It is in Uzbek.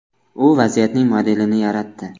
U vaziyatning modelini yaratdi.